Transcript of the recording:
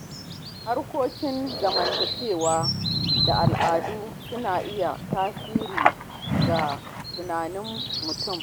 Harkokin zamantakewa da al’adu suna iya tasiri ga tunanin mutum.